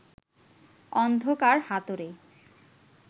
অন্ধকার হাতড়ে